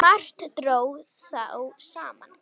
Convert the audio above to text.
Margt dró þá saman.